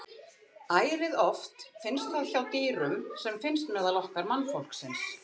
Ærið oft finnst það hjá dýrum sem finnst meðal okkar mannfólksins.